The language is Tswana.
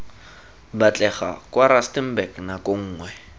batlega kwa rustenburg nako nngwe